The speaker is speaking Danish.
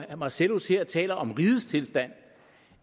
marcellus her taler om rigets tilstand